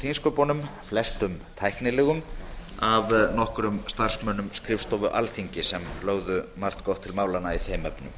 á þingsköpum flestum tæknilegum af nokkrum starfsmönnum skrifstofu alþingis sem lögðu margt gott til málanna í þeim